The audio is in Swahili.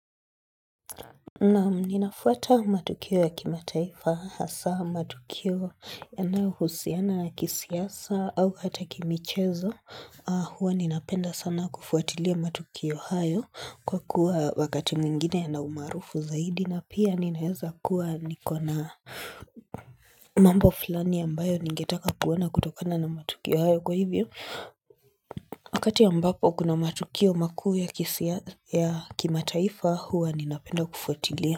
Naam ninafuata matukio ya kimataifa hasa matukio yanayo husiana na kisiasa au hata kimichezo huwa ninapenda sana kufuatilia matukio hayo kwa kuwa wakati mwingine na umarufu zaidi na pia ninaweza kuwa nikona mambo fulani ambayo ningetaka kuona kutokana na matukio hayo kwa hivyo. Wakati ambapo kuna matukio makuu ya kisiasa ya kimataifa huwa ninapenda kufuatilia.